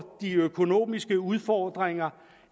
de økonomiske udfordringer